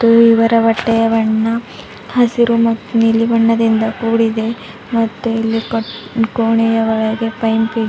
ಇವರ ಬಟ್ಟೆಯ ಬಣ್ಣ ಹಸಿರು ಮತ್ತು ನೀಲಿ ಬಣ್ಣದಿಂದ ಕೂಡಿದೆ ಮತ್ತೆ ಇಲ್ಲಿ ಕೋಣೆಯ ಒಳಗೆ ಪೈಂಪ್ ಇದೆ.